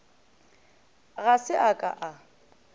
ga se a ka a